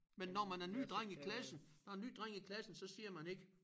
Men når man er ny dreng i klassen når en ny dreng i klassen så siger man ikke